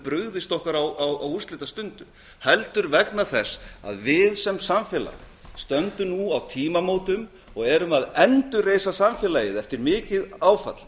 brugðist okkur á úrslitastundum heldur vegna þess að við sem samfélag stöndum nú á tímamótum og erum að endurreisa samfélagið eftir mikið áfall